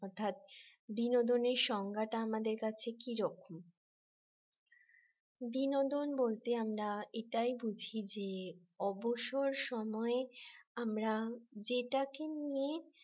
অর্থাৎ বিনোদন এর সংজ্ঞাটা আমাদের কাছে কি রকম বিনোদন বলতে আমরা এটাই বুঝি যে অবসর সময় আমরা যেটাকে নিয়ে